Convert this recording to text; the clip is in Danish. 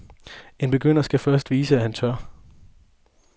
En begynder skal først vise, at han tør.